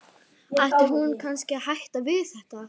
Ætti hún kannski að hætta við þetta?